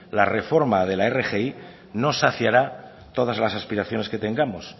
la reforma de la rgi no saciará todas las aspiraciones que tengamos